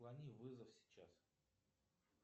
отклони вызов сейчас